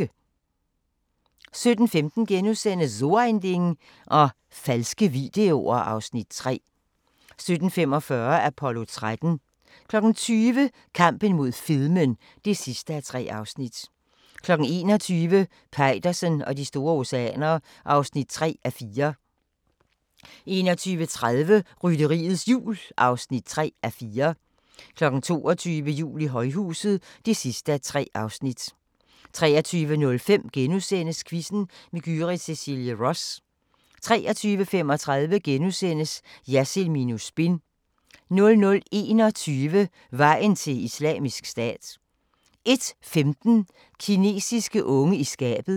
17:15: So ein Ding og falske videoer (Afs. 3)* 17:45: Apollo 13 20:00: Kampen mod fedmen (3:3) 21:00: Peitersen og de store oceaner (3:4) 21:30: Rytteriets Jul (3:4) 22:00: Jul i højhuset (3:3) 23:05: Quizzen med Gyrith Cecilie Ross * 23:35: Jersild minus spin * 00:21: Vejen til Islamisk Stat 01:15: Kinesiske unge i skabet